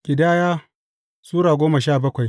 Ƙidaya Sura goma sha bakwai